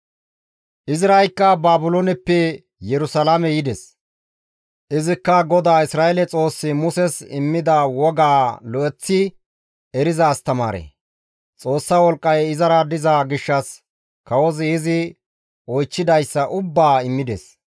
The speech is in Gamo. Izraykka Baabilooneppe Yerusalaame yides; izikka GODAA Isra7eele Xoossi Muses immida woga lo7eththi eriza astamaare; Xoossa wolqqay izara diza gishshas kawozi izi oychchidayssa ubbaa immides.